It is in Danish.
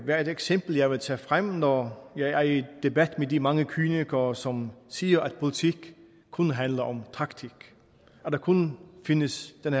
være et eksempel jeg vil tage frem når jeg er i debat med de mange kynikere som siger at politik kun handler om taktik at der kun findes den